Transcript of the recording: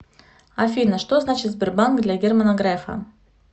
афина что значит сбербанк для германа грефа